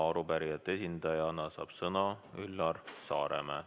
Arupärijate esindajana saab sõna Üllar Saaremäe.